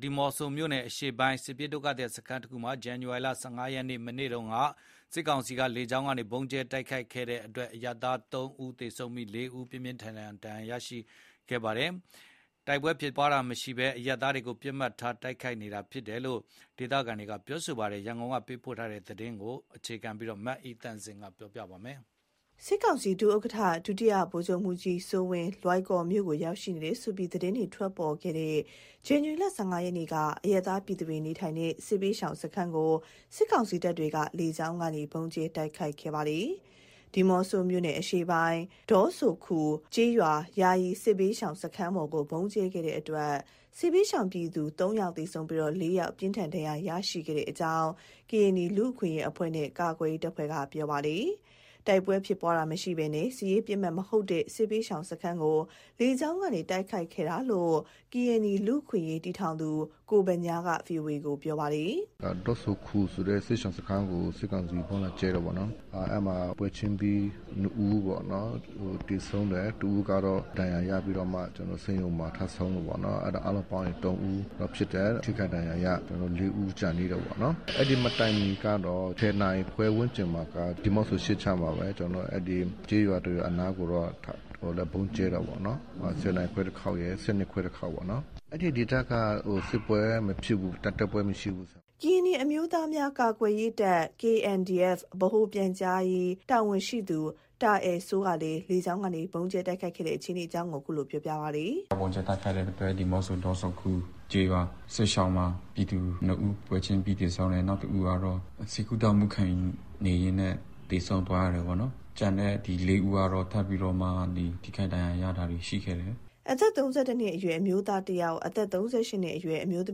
ဒီးမော့ဆိုမြို့နယ် အရှေ့ပိုင်း စစ်ရှောင်စခန်းတခုမှာ ဇန်နဝါရီလ ၁၅ ရက်နေ့ မနေ့က စစ်ကောင်စီတပ်က လေကြောင်းကနေ ဗုံးကြဲတိုက်ခိုက်တဲ့အတွက် အရပ်သား ၃ ဦး သေဆုံးပြီး ၄ ဦး ပြင်းပြင်းထန်ထန် ဒဏ်ရာရရှိခဲ့တ့အကြောင်း ကရင်နီလူ့အခွင့်အရေးအဖွဲ့နဲ့ ကာကွယ်ရေးတပ်ဖွဲ့က ဗွီအိုအေကို ပြောပါတယ်။ တိုက်ပွဲဖြစ်ပွားတာမရှိတဲ့နေရာတွေမှာ အရပ်သားတွေကို ပစ်မှတ်ထား ဗုံးကြဲနေတယ်ဆိုပြီး ဒေသခံတွေ စိုးရိမ် ထိတ်လန့်နေကြပါတယ်။ ဒီအကြောင်း နောက်ဆုံးရအခြေအနေကို သတင်းပေးပို့ထားပါတယ်။ စစ်ကောင်စီ ဒုဥက္ကဋ္ဌ ဒုတိယဗိုလ်ချုပ်မှူးကြီးစိုးဝင်း လွိုင်ကော်မြို့ကို ရောက်ရှိနေတယ်ဆိုပြီး သတင်းတွေ ထွက်ပေါ်ခဲ့တဲ့ ဇန္နဝါရီလ ၁၅ ရက်နေ့က အရပ်သားပြည်သူတွေ နေထိုင်တဲ့ စစ်ဘေးရှောင်စခန်းကို စစ်ကောင်စီတပ်က လေကြောင်းကနေ ဗုံးကြဲတိုက်ခိုက်ခဲ့ပါတယ်။ ဒီးမော့ဆိုမြို့နယ်အရှေ့ပိုင်း ဒေါဆိုခူကျေးရွာ ယာယီစစ်ဘေးရှောင်စခန်းပေါ်ကို ဗုံးကြဲခဲ့တဲ့အတွက် စစ်ဘေးရှောင်ပြည်သူ ၃ ဦး သေဆုံးပြီး ၄ ဦး ပြင်းထန်ဒဏ်ရာရရှိခဲ့တဲ့အကြောင်း ကရင်နီလူ့အခွင့်အရေးအဖွဲ့နဲ့ ကာကွယ်ရေးတပ်ဖွဲ့က ပြောပါတယ်။ တိုက်ပွဲဖြစ်ပွားတာမရှိဘဲ စစ်ရေးပစ်မှတ်မဟုတ်တဲ့ စစ်ဘေးရှောင်စခန်းကို လေကြောင်းကနေ တိုက်ခိုက်ခဲ့တာလို့ ကရင်နီလူ့အခွင့်အရေးတည်ထောင်သူ ကိုဗညားက ဗွီအိုအေကို ပြောပါတယ်။ “ဒေါဆိုခူဆိုတဲ့ စစ်ရှောင်စခန်းကို စစ်ကောင်စီက ဗုံးလာကြဲတယ်ပေါ့နော်။ အဲ့မှာ ပွဲချင်းပြီ ၂ဦးပေါ့နော် သေဆုံးတယ်၊ ၁ဦးကတော့ ဒဏ်ရာရပြီးတော့မှ ကျနော်တို့ ဆေးရုံမှာ ထပ်ဆုံးတယ်ပေါ့နော်၊ အားလုံးပေါင်းရင် ၃ဦးဖြစ်တယ်။ ထိခိုက်ဒဏ်ရာရ ၄ဦး ကျန်သေးတယ်ပေါ့နော်။ အဲ့ဒီမတိုင်မီကတော့ ၁၀နာရီခွဲဝန်းကျင်မှာ ဒီးမော့ဆို အရှေ့ခြမ်းမှာပဲ ကျေးရွာတစ်ရွာအနားကိုလည်း ဗုံးကြဲတယ်ပေါ့နော်။ ၁၀နာရီခွဲတစ်ခေါက်ရယ် ၁၂ခွဲတစ်ခေါက်ပေါ့နော်။ အဲ့ဒီဒေသက စစ်ပွဲမဖြစ်ဘူး။ တိုက်ပွဲမရှိဘူး။ ” ကရင်နီအမျိုးသားများကာကွယ်ရေးတပ် (KNDF) ဗဟိုပြန်ကြားရေးတာဝန်ရှိသူ တာအယ်စိုးကလည်း လေကြောင်းကနေ ဗုံးကြဲတိုက်ခိုက်ခဲ့တဲ့ အခြေအနေကို အခုလို ပြောပြပါတယ်။ “ဗုံးကြဲတိုက်ခိုက်တဲ့အတွက် ဒီးမော့ဆို ဒေါဆိုခူကျေးရွာမှာ ပြည်သူ ၂ ဦးပွဲချင်းပြီ သေဆုံးတယ် နောက် ၁ဦးကတော့ ဆေးကုသမှုခံယူနေရင်းနဲ့ သေဆုံးသွားတယ်ပေါ့နော်။ ကျန်တဲ့ ဒီ ၄ဦးကတော့ ထပ်မံပြီးတော့ ထိခိုက်ဒဏ်ရာရတာရှိတယ်။” အသက် ၃၁ နှစ်အရွယ် အမျိုးသား ၁ဦး၊ အသက် ၃၈ နှစ်အရွယ်အမျိုးသ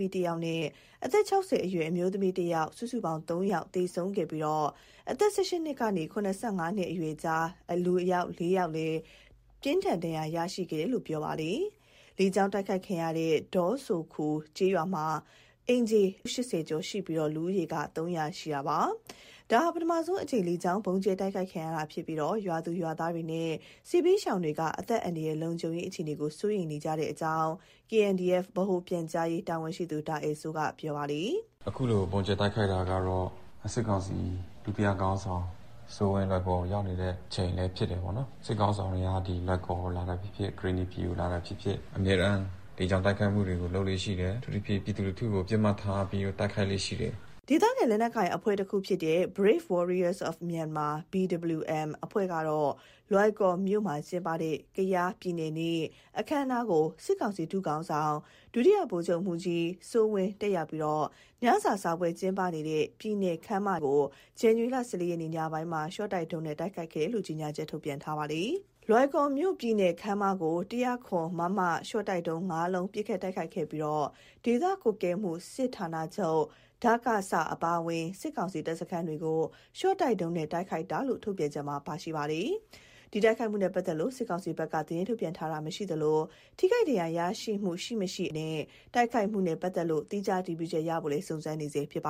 မီး ၁ဦးနဲ့ အသက်(၆၀) အရွယ်အမျိုးသမီး ၁ဦး စုစုပေါင်း ၃ ဦးသေဆုံးခဲ့ပြီး အသက် ၁၈ နှစ်ကနေ ၇၅ နှစ်အရွယ်ကြား ၄ဦး ပြင်းထန်ဒဏ်ရာရရှိခဲ့တယ်လို့လည်း ပြောပြပါတယ်။ လေကြောင်း တိုက်ခိုက်ခံရတဲ့ ဒေါဆိုခူကျေးရွာမှာ အိမ်ခြေ ၈၀ ကျော်ရှိပြီး လူဦးရေ ၃၀၀ ရှိပါတယ်။ ဒါဟာ ပထမဆုံးအကြိမ် လေကြောင်းဗုံးကြဲတိုက်ခိုက်ခံရတာဖြစ်ပြီး ရွာသူရွာသားနဲ့ စစ်ဘေးရှောင်တွေက အသက်အန္တရာယ် လုံခြုံရေးအခြေအနေ စိုးရိမ်နေကြတဲ့အကြောင်း (KNDF) ဗဟိုပြန်ကြားရေးတာဝန်ရှိသူ တာအယ်စိုးက ပြောပါတယ်။ “အခုလို ဗုံးကြဲတိုက်ခိုက်တာကတော့ စစ်ကောင်စီ ဒုတိယစစ်ခေါင်းဆောင်စိုးဝင်း လွိုင်ကော်ကို ရောက်နေတဲ့ အချိန်လည်း ဖြစ်တယ်ပေါ့နော်၊ စစ်ခေါင်းဆောင်က လွိုင်ကော်ကို လာတာဖြစ်ဖြစ် ကရင်နီပြည်ကို လာတာဖြစ်ဖြစ် အမြဲတမ်းလေကြောင်းတိုက်ခိုက်မှုတွေ လုပ်လေ့ရှိတယ်၊ အထူးသဖြင့် ပြည်သူလူထုကို ပစ်မှတ်ထားပြီးတော့ တိုက်ခိုက်လေ့ရှိတယ်။” ဒေသခံ လက်နက်ကိုင်အဖွဲ့တခုဖြစ်တဲ့ Brave Warriors for Myanmar (BWM) အဖွဲ့ကတော့ လွိုင်ကော်မြို့မှာ ကျင်းပတဲ့ ကယားပြည်နယ်နေ့ အခမ်းအနားကို စစ်ကောင်စီ ဒုခေါင်းဆောင် ဒုတိယဗိုလ်ချုပ်မှူးကြီး စိုးဝင်း တက်ရောက်ပြီး ညစာစားပွဲကျင်းပနေတဲ့ ပြည်နယ်ခန်းမထဲကို ဇန်နဝါရီလ ၁၄ ရက် ညပိုင်းမှာ ရှော့တိုက်ဒုံးနဲ့ တိုက်ခိုက်ခဲ့တယ်လို့ ကြေညာချက် ထုတ်ပြန်ထားပါတယ်။ လွိုင်ကော်မြို့ပြည်နယ်ခန်းမကို ၁၀၇ မမ ရှော့တိုက်ဒုံး ၅ လုံး ပစ်ခတ်တိုက်ခိုက်ခဲ့ပြီး ဒေသကွပ်ကဲမှုစစ်ဌာနချုပ်-ဒကစ အပါအဝင်း စစ်ကောင်စီတပ်စခန်းတွေကို ရှော့တိုက်ဒုံးနဲ့ တိုက်ခိုက်တာလို့ ထုတ်ပြန်ချက်မှာ ပါရှိပါတယ်။ ဒီတိုက်ခိုက်မှုနဲ့ ပတ်သက်လို့ စစ်ကောင်စီဘက်က သတင်းထုတ်ပြန်တာ မရှိသလို၊ ထိခိုက်ဒဏ်ရာရရှိမှု ရှိမရှိ အနေအထားတွေနဲ့ တိုက်ခိုက်မှုနဲ့ ပတ်သက်လို့ သီးခြားအတည်ပြုချက်ရဖို့ စုံစမ်းနေဆဲဖြစ်ပါ